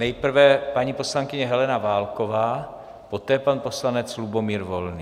Nejprve paní poslankyně Helena Válková, poté pan poslanec Lubomír Volný.